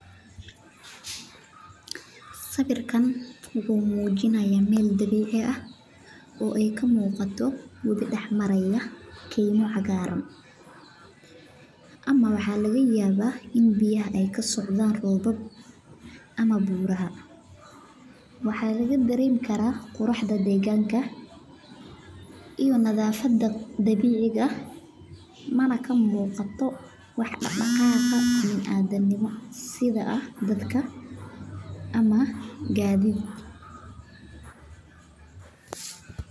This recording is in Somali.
Sawiirkaan wuxuu mujinaaya meel dabiici ah oo aay kamuqato wabi dex maraaya waxaa laga dareemi karaa quraxda deeganka iyo dabiiciga ah waa howl aad ufican tahay wadnaha iyo kansarka qaarkood masdulaagi waxeey leeyihiin.